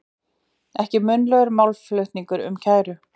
Ekki munnlegur málflutningur um kæru